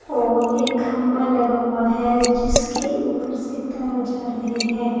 और एक खंभा लगा हुआ है जिसके ऊपर से तार जा रहे हैं।